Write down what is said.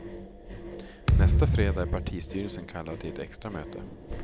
Nästa fredag är partistyrelsen kallad till ett extra möte.